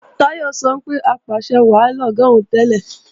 Táyọ̀ sọ pé apàṣẹwàá lọ̀gá òun tẹ́lẹ̀